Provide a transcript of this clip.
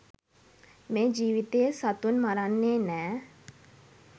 මේ ජීවිතයේ සතුන් මරන්නේ නෑ.